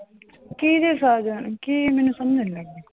ਕਿਹਦੇ ਸਾਜਨ ਕੀ ਮੈਨੂੰ ਸਮਝ ਨੀ ਲੱਗਦੀ।